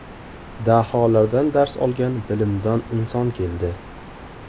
Daholardan dars olgan Bilimdon inson keldi.